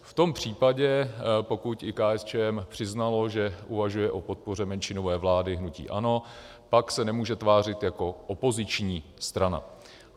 V tom případě, pokud i KSČM přiznalo, že uvažuje o podpoře menšinové vlády hnutí ANO, pak se nemůže tvářit jako opoziční strana.